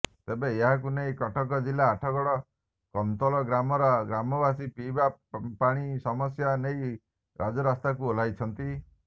ତେବେ ଏହାକୁ ନେଇ କଟକ ଜିଲ୍ଲା ଆଠଗଡ଼ କନ୍ତୋଲ ଗ୍ରାମର ଗ୍ରାମବାସୀ ପିଇବା ପାଣି ସମସ୍ୟା ନେଇ ରାଜରାସ୍ତାକୁ ଓହ୍ଳାଇଛନ୍ତି